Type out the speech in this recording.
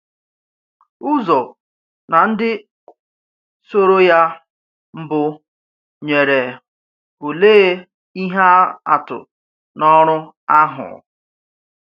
Uzo na ndị soro ya mbụ nyere òlee ihe atụ n’ọrụ ahụ?